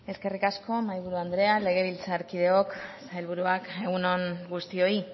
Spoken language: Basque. eskerrik asko mahaiburu andrea legebiltzarkideok sailburuak egun on guztioi